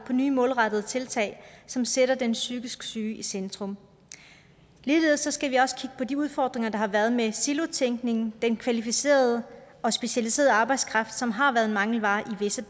nye målrettede tiltag som sætter den psykisk syge i centrum ligeledes skal vi også kigge på de udfordringer der har været med silotænkningen og den kvalificerede og specialiserede arbejdskraft som har været en mangelvare i visse